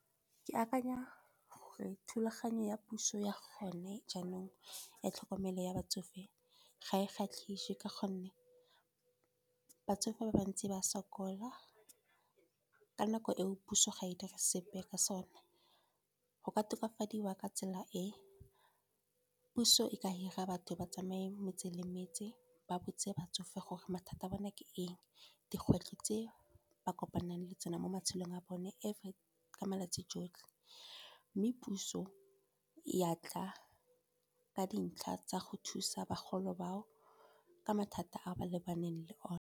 Ke akanya gore thulaganyo ya puso ya gone jaanong, ya tlhokomelo ya batsofe ga e kgatlhise. Ka gonne batsofe ba bantsi ba sokola, ka nako e o puso ga e dire sepe ka sone. Go ka tokafadiwa ka tsela e, puso e ka hira batho ba tsamaye metse le metse, ba botse batsofe gore mathata a bone ke eng. Dikgwetlho tse ba kopanang le tsona mo matshelong a bone ka malatsi jotlhe, mme puso ya tla ka dintlha tsa go thusa bagolo ba o, ka mathata a ba lebaneng le one.